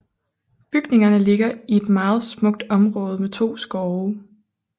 Bygningerne ligger i et meget smukt område med to skove